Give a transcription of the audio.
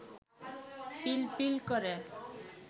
পিলপিল করে